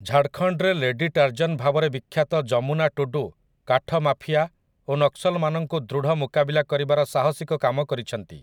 ଝାଡ଼ଖଣ୍ଡରେ lady Tarzan ଭାବରେ ବିଖ୍ୟାତ ଯମୁନା ଟୁଡୁ କାଠ ମାଫିଆ ଓ ନକ୍ସଲମାନଙ୍କୁ ଦୃଢ଼ ମୁକାବିଲା କରିବାର ସାହସିକ କାମ କରିଛନ୍ତି ।